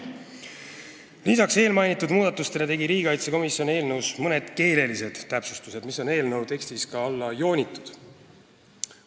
Lisaks eelmainitud muudatustele tegi riigikaitsekomisjon eelnõus mõned keelelised täpsustused, mis on eelnõu tekstis alla joonitud.